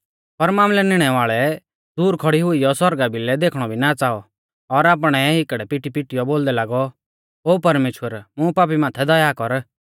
पर मामलै निणै वाल़ै दूर खौड़ी हुइयौ सौरगा भिलै देखणौ भी ना च़ाऔ और आपणै हिकड़ै पिटीपिटीऔ बोलदै लागौ ओ परमेश्‍वर मुं पापी माथै दया कर